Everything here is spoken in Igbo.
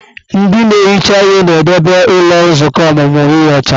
Ndị na-ehicha ihe na-edebe ụlọ nzukọ ọmụmụ ihe ọcha.